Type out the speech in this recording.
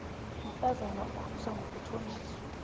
umntazana ukhuliswa ngokuthonjiswa